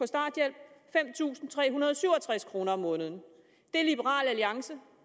starthjælp fem tusind tre hundrede og syv og tres kroner om måneden det liberal alliance